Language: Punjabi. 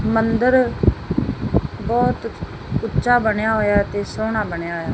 ਮੰਦਰ ਬਹੁਤ ਉੱਚਾ ਬਣਿਆ ਹੋਇਆ ਅਤੇ ਸੋਹਣਾ ਬਣਿਆ ਹੌਇਆ।